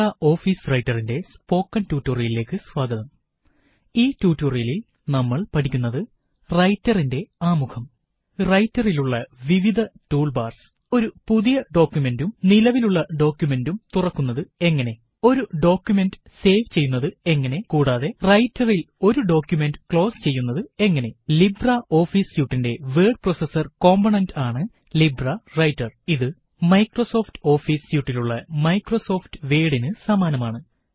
റൈററിന്റെ ആമുഖം റൈറ്ററിലുള്ള വിവിധ ടൂള് ബാര്സ് ഒരു പുതിയ ഡോക്കുമന്റും നിലവിലുള്ള ഡോക്കുമെന്റും തുറക്കുന്നത് എങ്ങനെ ഒരു ഡോക്കുമന്റ് സേവ് ചെയ്യുന്നത് എങ്ങനെ കൂടാതെ റൈറ്ററില് ഒരു ഡോക്കുമന്റ് ക്ലോസ് ചെയ്യുന്നത് എങ്ങനെ ലിബ്രെ ഓഫീസ് സ്യൂട്ടിന്റെ വേഡ് പ്രോസസര് കോമ്പോണന്റ് ആണ് ലിബ്രെ റൈറ്റര് ഇത് മൈക്രോസോഫ്റ്റ് ഓഫീസ് സ്യൂട്ടിലുള്ള മൈക്രോസോഫ്റ്റ് വേഡിന് സമാനമാണ്